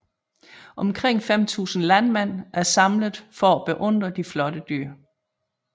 Omkring 5000 landmænd er samlet for at beundre de flotte dyr